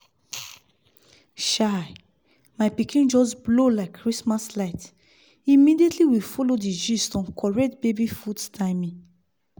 chai! my pikin just blow like christmas light immediately we follow the gist on correct baby food timing